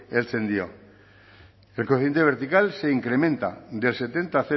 heltzen dio el coeficiente vertical se incrementa del setenta